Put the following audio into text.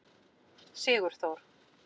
Sigurþór